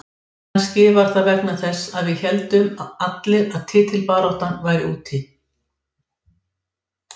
Ég vil spila meira en á síðasta tímabili, það er augljóst.